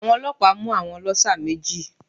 Àwọn ọlọ́pàá mú àwọn ọlọ́ṣà méjì